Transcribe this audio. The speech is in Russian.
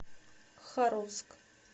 харовск